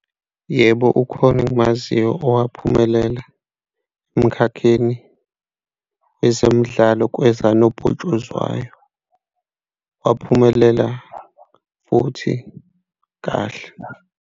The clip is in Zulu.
Yebo, ukhona engimaziyo owaphumelela emkhakheni wezemidlalo kweza nobhutshuzwayo, waphumelela futhi kahle.